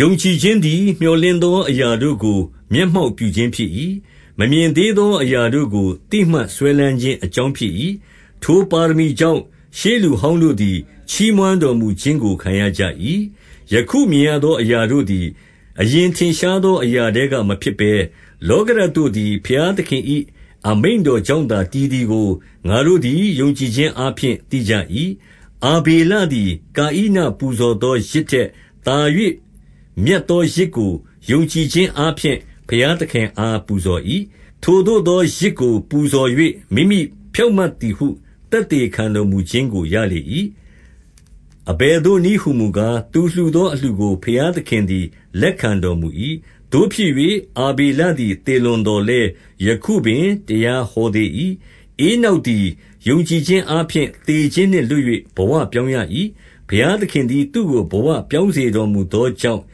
ယုံကြည်ခြင်းသည် မြော်လင့်သောအရာတို့ကို မျက်မှောက်ပြု ခြင်းဖြစ်၏။ မမြင်သေးသော အရာတို့ကို သိမှတ်စွဲလမ်းခြင်းအကြောင်းဖြစ်၏။ 2 ထိုပါရမီကြောင့်၊ ရှေးလူဟောင်းတို့သည် ချီးမွမ်းတော်မူခြင်းကို ခံရကြ၏။ 3 ယခုမြင်ရသောအရာတို့သည်၊ အရင်ထင်ရှားသော အရာထဲက မဖြစ်ဘဲ၊ လောကဓာတ်တို့သည် ဘုရားသခင်၏အမိန့်တော်ကြောင့်သာ တည်သည်ကို ငါတို့သည် ယုံကြည်ခြင်းအားဖြင့် သိကြ၏။ 4 အာဇေလသည်၊ ကာဣနပူဇော်သော ယဇ်ထက်သာ၍ မြတ်သောယဇ်ကို၊ ယုံကြည်ခြင်းအားဖြင့် ဘုရားသခင်အားပူဇော်၏။ ထိုသို့သောယဇ်ကိုပူဇော်၍၊ မိမိဖြောင့်မတ်သည်ဟု သက်သေခံတော်မူခြင်းကို ရလေ၏။ အဘယ်သို့နည်းဟူမူကား၊ သူလှူသောအလှူကို ဘုရားသခင်သည် လက်ခံတော်မူ၏။ သို့ဖြစ်၍၊ အာဗေလသည် သေလွန်သော်လည်း ယခုပင်တရားဟောသေး၏။ 5 ဧနောက်သည် ယုံကြည်ခြင်းအားဖြင့် သေခြင်းနှင့်လွတ်၍ ဘဝပြောင်းရ၏။ ဘုရားသခင်သည် သူ့ကို ဘဝပြောင်းစေတော်မူသောကြောင့်၊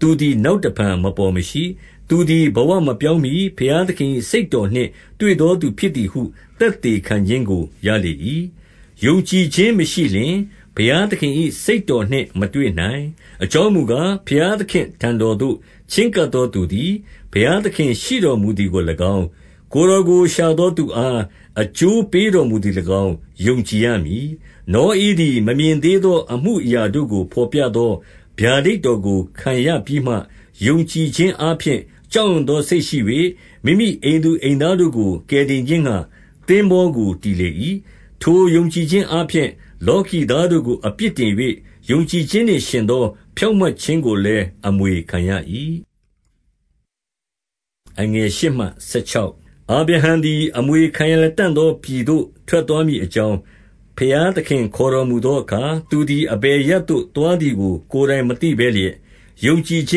သူသည် နောက်တဖန် မပေါ်မရှိ။ သူသည်ဘဝမပြောင်းမှီ ဘုရားသခင်၏ စိတ်တော်နှင့်တွေ့သောသူဖြစ်သည်ဟု သက်သေခံခြင်းကို ရလေ၏။ 6 ယုံကြည်ခြင်းမရှိလျှင်၊ ဘုရားသခင်၏ စိတ်တော်နှင့်မတွေ့နိုင်။ အကြောင်းမူကား၊ ဘုရားသခင့် အထံတော်သို့ ချဉ်းကပ်သောသူသည်၊ ဘုရားသခင်ရှိတော်မူသည်ကို၎င်း၊ ကိုယ်တော်ကို ရှာသောသူအား အကျိုးပေးတော်မူသည်ကို၎င်း၊ ယုံကြည်ရမည်။ 7 နောဧသည်မမြင်သေးသော အမှုအရာတို့ကို ဘော်ပြသော ဗျာဒိတ်တော်ကိုခံရပြီးမှ၊ ယုံကြည်ခြင်း အားဖြင့် ကြောက်ရွံ့လာသောစိတ်ရှိ၍၊ မိမိအိမ်သူအိမ်သားတို့ကို ကယ်တင်ခြင်းငှါ သင်္ဘောကိုတည်လေ၏ ထိုယုံကြည်ခြင်းအားဖြင့် လောကီသားတို့ကို အပြစ်တင်၍ ယုံကြည်ခြင်းနှင့်ယှဉ်သော ဖြောင့်မတ်ခြင်းကိုလည်း အမွေခံရ၏။ 8 အာဗြဟံသည် အမွေခံရလတံ့သောပြည်သို့ ထွက်သွားမည်အကြောင်း၊ ဘုရားသခင် ခေါ်တော်မူ သောအခါ၊ သူသည်အဘယ်အရပ်သို့သွားသည်ကို ကိုယ်တိုင်မသိဘဲလျက်၊ ယုံကြည်ခြ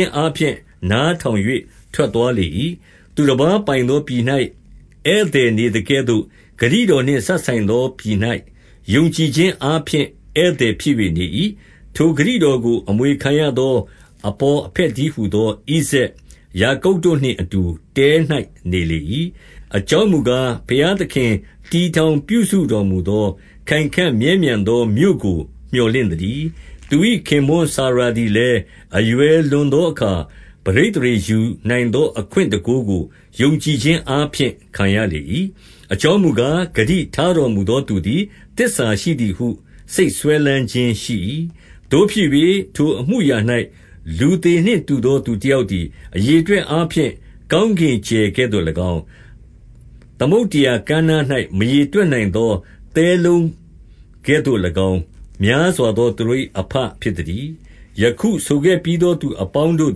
င်းအားဖြင့် နားထောင် ၍ ထွက်သွားလေ၏။ 9 သူတပါးပိုင်သောပြည်၌ ဧည့်သည်နေသကဲ့သို့၊ ဂတိတော်နှင့် စပ်ဆိုင်သော ပြည်၌ယုံကြည်ခြင်း အားဖြင့် ဧည့်သည်ဖြစ်၍နေ၏။ ထိုဂတိတော်ကို အမွေခံရသော အဘော်အဘက်တည်းဟူသော ဣဇာက်၊ ယာကုပ်တို့နှင့်အတူ တဲ၌နေလေ၏။ 10 အကြောင်းမူကား၊ ဘုရားသခင် တည်ထောင်ပြုစုတော်မူသော၊ ခိုင်ခံ့မြဲမြံသောမြို့ကိုမြော်လင့် သတည်း။ 11 သူ၏ခင်ပွန်းစာရာသည်လည်း အရွယ်လွန်သောအခါ၊ ပဋိသန္ဓေယူနိုင်သော အခွင့်တန်ခိုးကို ယုံကြည်ခြင်းအားဖြင့် ခံရလေ၏။ အကြောင်းမူကား၊ ဂတိထားတော်မူသောသူသည် သစ္စာရှိသည်ဟု စိတ်စွဲလမ်းခြင်းရှိ၏။ 12 သို့ဖြစ်၍၊ ထိုအမှုအရာ၌ လူသေနှင့်တူသော သူတယောက်သည်၊ အရေအတွက်အားဖြင့် ကောင်းကင် ကြယ်ကဲ့သို့၎င်း၊ သမုဒ္ဒရာကမ်းနား၌မရေတွက်နိုင်သောသဲလုံးကဲ့သို့၎င်း၊ များစွာသောသူတို့၏ အဘဖြစ် သတည်း။ 13 ယခုဆိုခဲ့ပြီးသောသူအပေါင်းတို့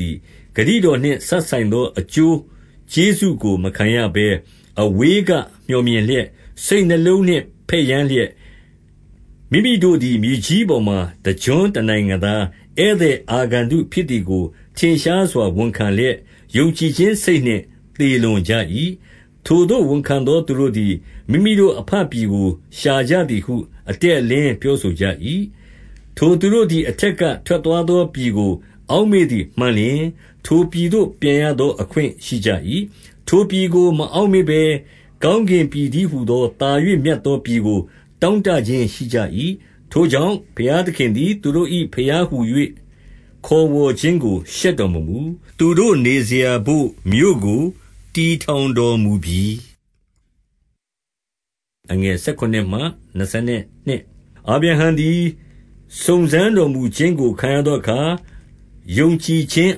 သည်၊ ဂတိတော်နှင့်စပ်ဆိုင်သော အကျိုးကျေးဇူးကိုမခံရဘဲ၊ အဝေး ကမြော်မြင်လျက်၊ စိတ်နှလုံးနှင့် ဘက်ယမ်းလျက်၊ မိမိတို့သည် မြေကြီးပေါ်မှာ တကျွန်းသူတနိုင်ငံသား၊ ဧည့်သည် အာဂန္တုဖြစ်သည်ကို ထင်ရှားစွာဝန်ခံလျက်၊ ယုံကြည်ခြင်းစိတ်နှင့်သေလွန်ကြ၏။ 14 ထိုသို့ဝန်ခံသောသူတို့သည် မိမိတို့အဘပြည်ကို ရှာကြသည်ဟု အတည့်အလင်းပြောဆိုကြ၏။ 15 ထိုသူတို့သည် အထက်ကထွက်သွားသော ပြည်ကို အောက်မေ့သည်မှန်လျှင်၊ ထိုပြည်သို့ ပြန်ရသော အခွင့်ရှိကြ၏။ 16 ထိုပြည်ကိုမအောက့်မေ့ဘဲ၊ ကောင်းကင်ပြည် တည်းဟူသော သာ၍မြတ်သောပြည်ကို တောင့်တခြင်း ရှိကြ၏။ ထိုကြောင့်၊ ဘုရားသခင်သည် သူတို့၏ ဘုရား ဟူ၍ ခေါ်ဝေါ်ခြင်းကိုရှက်တော်မမူ၊ သူတို့နေစရာ ဘို့မြို့ ကို တည်ထောင်တော်မူပြီ။ 17 အာဗြဟံသည် စုံစမ်းတော်မူခြင်းကို ခံရသောအခါ၊ ယုံကြည်ခြင်း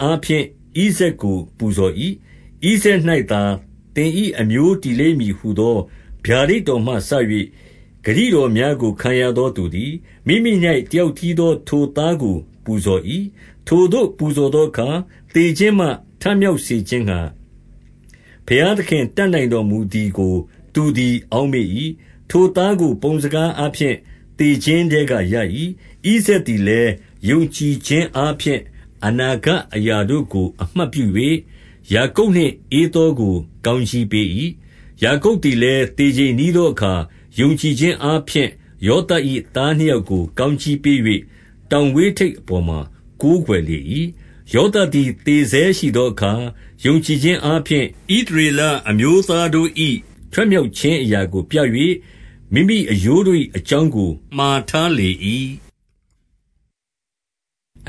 အားဖြင့် ဣဇာက်ကိုပူဇော်၏။ 18 ဣဇာက်၌သာသင်၏ အမျိုးတည်လိမ့်မည်ဟူသော ဗျာဒိတ်တော်မှစ၍ ဂတိတော်များကို ခံရသော သူသည်၊ မိမိ၌ တယောက်တည်းသော ထိုသားကို ပူဇော်၏။ 19 ထိုသို့ပူဇော်သောအခါ သေခြင်းမှ ထမြောက်စေခြင်းငှါ၊ ဘုရားသခင် တတ်နိုင်တော်မူသည်ကို သူသည် အောက်မေ့၏။ ထိုသားကို ပုံစကားအားဖြင့် သေခြင်းထဲကရ၏။ 20 ဣဇာက်သည်လည်း၊ ယုံကြည်ခြင်းအားဖြင့် အနာဂတ်အရာတို့ ကိုအမှတ်ပြု၍ ယာကုပ်နှင့်ဧသောကို ကောင်းကြီးပေး၏။ 21 ယာကုပ်သည်လည်း၊ သေချိန်နီးသောအခါ၊ ယုံကြည်ခြင်း အားဖြင့်ယောသပ်၏ သားနှစ်ယောက်ကို ကောင်းကြီးပေး၍၊ တောင်ဝေးထိပ်အပေါ်မှာ ကိုးကွယ်လေ၏။ 22 ယောသပ်သည်သေဆဲရှိသောအခါ၊ ယုံကြည်ခြင်းအားဖြင့် ဣသရေလအမျိုးသားတို့၏ ထွက်မြောက် ခြင်းအရာကိုပြ၍၊ မိမိအရိုးတို့၏ အကြောင်းကိုမှာ ထားလေ၏။ 23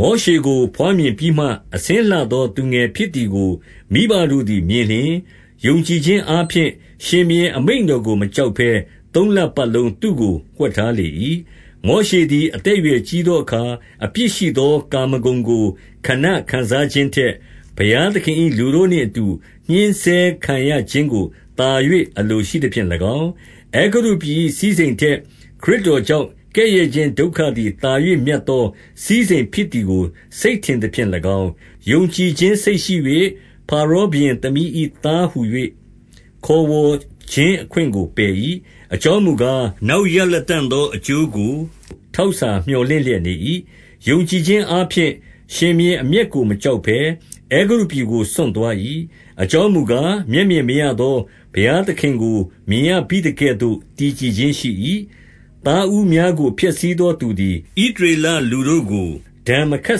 မောရှေကို ဘွားမြင်ပြီးမှ အဆင်းလှသော သူငယ်ဖြစ်သည်ကို မိဘတို့သည်မြင်လျှင်၊ ယုံကြည်ခြင်း အားဖြင့် ရှင်ဘုရင်အမိန့်တော်ကို မကြောက်ဘဲ သုံးလပတ်လုံးသူ့ကို ဝှက်ထားလေ၏။ 24 မောရှေသည် အသက်အရွယ်ကြီးသောအခါ အပြစ်ရှိသော ကာမဂုဏ်ကို ခဏခံစားခြင်းထက်၊ ဘုရားသခင်၏လူတို့နှင့် အတူညှဉ်းဆဲခံရခြင်းကိုသာ၍ အလိုရှိသဖြင့်၎င်း၊ 25 အဲဂုတ္တုပြည်၏ စည်းစိမ်ထက် ခရစ်တော်ကြောင့် ကဲ့ရဲ့ခြင်းဒုက္ခသည် သာ၍မြတ်သော စည်းစိမ်ဖြစ်သည်ကို စိတ်ထင်သဖြင့်၎င်း၊ ယုံကြည်ခြင်းစိတ်ရှိ၍ ဖါရောဘုရင်သမီး၏သားဟူ၍ ခေါ်ဝေါ်ခြင်းအခွင့်ကိုပယ်၏။ 26 အကြောင်းမူကား၊ နောက် ရလတံ့သောအကျိုးကို ထောက်စာမြော်လင့်လျက်နေ၏။ 27 ယုံကြည်ခြင်းအားဖြင့် ရှင်ဘုရင်အမျက်ကို မကြောက်ဘဲ၊ အဲဂုတ္တုပြည်ကိုစွန့်သွား၏။ အကြောင်းမူ ကား၊ မျက်မြင်မရသော ဘုရားသခင်ကို မြင်ရဘိသကဲ့သို့ တည်ကြည်ခြင်းရှိ၏။ 28 သားဦးများကို ဖျက်ဆီးသောသူသည် ဣသရေလလူတို့ကို ဒဏ်မခတ်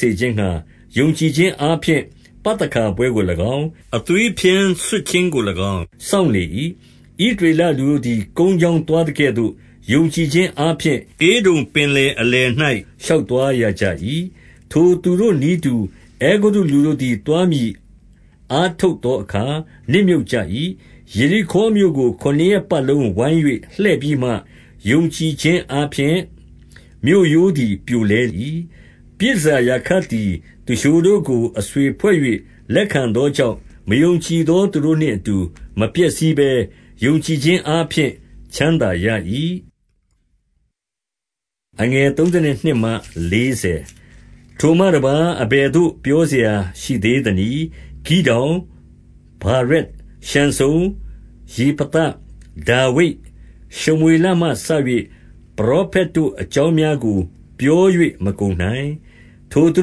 စေခြင်းငှါ၊ ယုံကြည်ခြင်းအားဖြင့် ပသခါပွဲကို၎င်း၊ အသွေးဖြန်းဆွတ်ခြင်းကို၎င်း စောင့်လေ၏။ 29 ဣသရေလလူတို့သည် ကုန်းကြောင်းသွား သကဲ့သို့၊ ယုံကြည်ခြင်းအားဖြင့် ဧဒုံပင်လယ်အလယ်၌ ရှောက်သွားရကြ၏။ ထိုသူတို့ နည်းတူအဲကုတ္တုလူတို့သည် သွားမည်အားထုတ်သောအခါ နစ်မြုပ်ကြ၏။ 30 ယေရိခေါမြို့ကို ခုနစ်ရက်ပတ်လုံးဝိုင်း၍ လှည့်ပြီးမှ၊ ယုံကြည်ခြင်းအားဖြင့် မြို့ရိုးသည် ပြိုလဲ၏။ 31 ပြည်တန်ဆာရာခပ်သည် သူလျှိုတို့ကို အဆွေဖွဲ့၍ လက်ခံသောကြောင့်၊ မယုံကြည်သောသူတို့နှင့် အတူ မပျက်စီးဘဲ၊ ယုံကြည်ခြင်းအားဖြင့် ချမ်းသာရ၏။ 32 ထိုမှတပါး၊ အဘယ်သို့ပြောစရာရှိသေးသနည်း။ ဂိဒေါင်၊ ဗာရက်၊ ရှံဆုံ၊ ယေဖသ၊ ဒါဝိဒ်၊ ရှမွေ လမှစ၍ ပရောဖက်တို့အကြောင်းများကို ပြော၍မကုန်နိုင်။ 33 ထိုသူ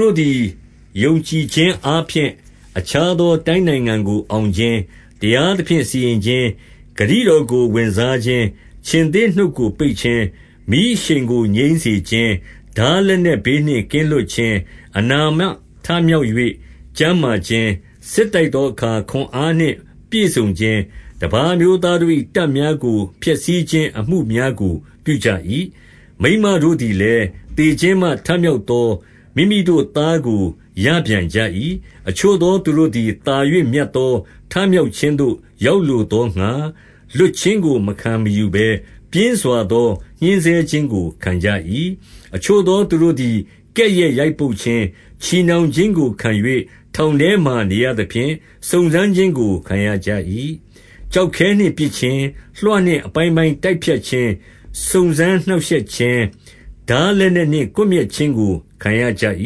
တို့သည် ယုံကြည်ခြင်းအားဖြင့် အခြားသောတိုင်းနိုင်ငံကိုအောင်ခြင်း၊ တရားသဖြင့် စီရင်ခြင်း၊ ဂတိတော်ကိုဝင်စားခြင်း၊ ခြင်္သေ့နှုတ်ကိုပိတ်ခြင်း၊ 34 မီးအရှိန်ကိုငြိမ်းစေခြင်း တားလက်နက်ဘေးနှင့်ကင်းလွတ်ခြင်း၊ အနာမှထမြောက်၍ကျန်းမာခြင်း၊ စစ်တိုက်သောအခါ ခွန်အားနှင့်ပြည့်စုံခြင်း၊ တပါးအမျိုးသားတို့၏ တပ်များကို ဖျက်ဆီးခြင်းအမှုများကို ပြုကြ၏။ 35 မိန်းမတို့သည်လည်း၊ သေခြင်းမှ ထမြောက်သော မိမိတို့သားကို ရပြန်ကြ၏။ အချို့သောသူတို့သည်၊ သာ၍မြတ်သော ထမြောက်ခြင်းသို့ ရောက်လိုသောငှါ၊ လွှတ်ခြင်းကိုမခံမယူဘဲ ပြင်းစွာသော ညှဉ်းဆဲခြင်းကို ခံကြ၏။ 36 အချို့သောသူတို့သည် ကဲ့ရဲ့ရိုက်ပုတ်ခြင်း၊ ချည်နှောင်ခြင်းကိုခံ၍ ထောင်ထဲမှာနေရသဖြင့်၊ စုံစမ်းခြင်း ကို ခံရကြ၏။ 37 ကျောက်ခဲနှင့်ပစ်ခြင်း၊ လွှနှင့်အပိုင်းပိုင်း တိုက်ဖြတ်ခြင်း၊ စုံစမ်းနှောင့်ရှက်ခြင်း၊ ထားလက်နက်နှင့် ကွပ် မျက်ခြင်းခံရကြ၏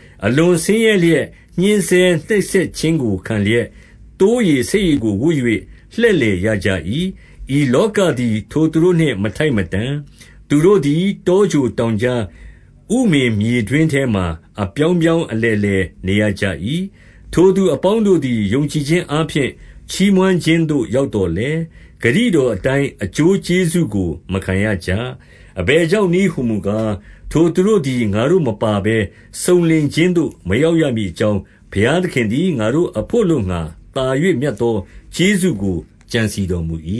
။ အလွန်ဆင်းရဲလျက် ညှဉ်းဆဲနှိပ်စက်ခြင်းကိုခံလျက်၊ သိုးရေ၊ ဆိတ်ရေကို ဝတ်၍ လှည့်လည် ရကြ၏။ 38 ဤလောကသည် ထိုသူတို့နှင့် မထိုက်မတန်။ သူတို့သည် တောကြိုတောင်ကြား၊ ဥမင်မြေတွင်းထဲမှာ အပြောင်းပြောင်း အလည်လည်နေရကြ၏။ 39 ထိုသူအပေါင်းတို့သည် ယုံကြည်ခြင်းအားဖြင့် ချီးမွမ်းခြင်းသို့ ရောက်သော်လည်း၊ ဂတိတော်အတိုင်း အကျိုးကျေးဇူးကို မခံရကြ။ 40 အဘယ်ကြောင့်နည်း ဟူမူကား၊ ထိုသူတို့သည် ငါတို့မပါဘဲ စုံလင်ခြင်းသို့မရောက်ရမည်အကြောင်း၊ ဘုရားသခင်သည် ငါတို့အဘို့ အလိုငှါ သာ၍မြတ်သော ကျေးဇူးကိုကြံစည်တော်မူ၏။